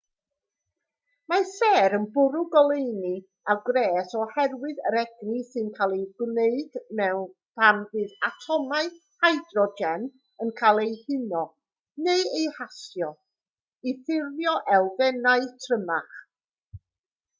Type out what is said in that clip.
mae sêr yn bwrw goleuni a gwres oherwydd yr egni sy'n cael ei wneud pan fydd atomau hydrogen yn cael eu huno neu eu hasio i ffurfio elfennau trymach